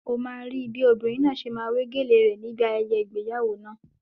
Ó máa rí bí obìnrin náà ṣe máa wé gèlèe rẹ̀ ni ibi ayẹyẹ ìgbéyàwó náà.